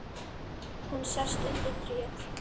Hún sest undir tréð.